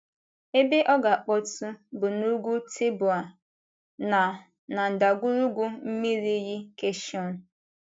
Ebe ọ ga - akpọtụ bụ n’Ugwu Teboa na na ndagwurugwu mmiri iyi Kaịshọn.